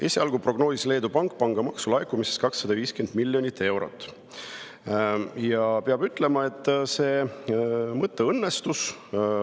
Esialgu prognoosis Leedu Pank, et pangamaksu laekub 250 miljonit eurot, ja peab ütlema, et see mõte oli õnnestunud.